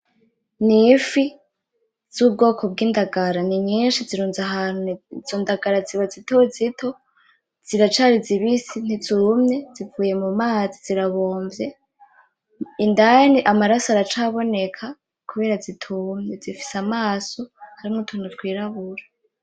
Ni ifi z’ubwoko bw’ indagara. Ni nyinshi zirunze ahantu izo ndagara ziba zito zito ziracari zibisi ntizumye zivuye mu mazi zirabomvye, indani amaraso aracaboneka kubera zitumye. Zifise amaso arimwo utuntu twirabura.